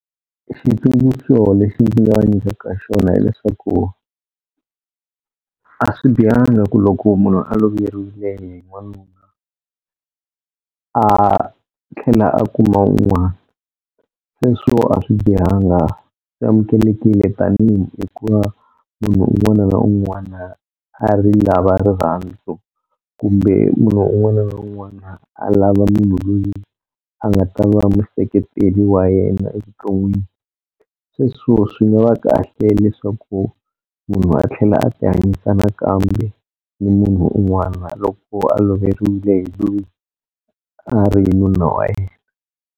Xitsundzuxo lexi ndzi nga va nyikaka xona hileswaku a swi bihanga ku loko munhu a loveriwile hi n'wanuna a tlhela a kuma wun'wana, sweswo a swi bihanga swi amukelekile tanihi hikuva munhu un'wana na un'wana a ri lava rirhandzu kumbe munhu un'wana na un'wana a lava munhu loyi a nga ta va museketeri wa yena evuton'wini. Sweswo swi nga va kahle leswaku munhu a tlhela a ti hanyisa nakambe ni munhu un'wana loko a loveriwile hi loyi a ri nuna wa yena.